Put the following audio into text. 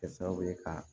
Kɛ sababu ye ka